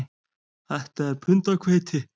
Þetta er pund af hveiti